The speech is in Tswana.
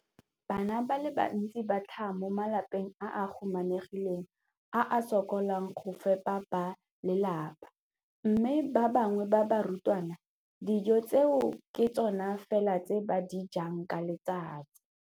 Bana ba le bantsi ba tlhaga mo malapeng a a humanegileng a a sokolang go ka fepa ba lelapa mme ba bangwe ba barutwana, dijo tseo ke tsona fela tse ba di jang ka letsatsi.